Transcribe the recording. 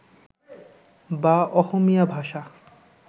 বা অহমীয়া ভাষা